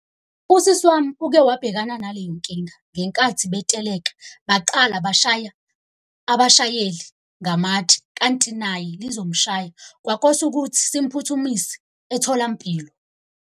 Usisi wami uke wabhekana nale nkinga ngenkathi beteleka, baqala bashaya abashayeli ngamatshe kanti naye lizomshaya. Kwakosa ukuthi simphuthumise etholampilo.